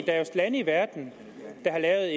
er jo lande i verden der